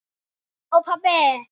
Og pabbi!